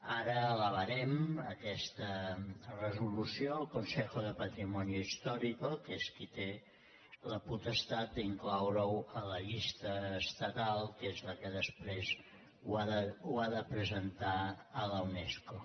ara elevarem aquesta resolució al consejo de patri·monio histórico que és qui té la potestat d’incloure·ho a la llista estatal que és la que després ho ha de presentar a la unesco